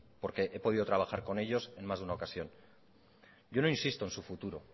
porque he podido trabajar con ellos en más de una ocasión yo no insisto en su futuro